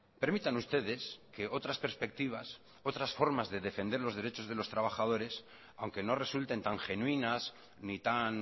permitan ustedes que otras perspectivas otras formas de defender los derechos de los trabajadores aunque no resulten tan genuinas ni tan